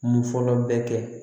Mun fɔlɔ bɛ kɛ